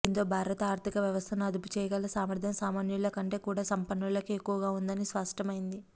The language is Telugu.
దీంతో భారత ఆర్థిక వ్యవస్థను అదుపు చేయగల సామర్థ్యం సామన్యుల కంటే కూడా సంపన్నులకే ఎక్కువగా ఉందని స్పష్టమైంది